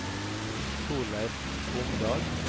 Torleif Omdal